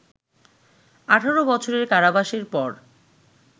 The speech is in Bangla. ১৮ বছরের কারাবাসের পর